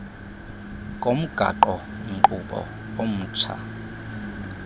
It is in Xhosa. komgaqo nkqubo omtsha